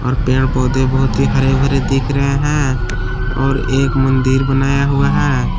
और पेड़ पौधे बहुत ही हरे भरे दिख रहे हैं और एक मंदिर बनाया हुआ है।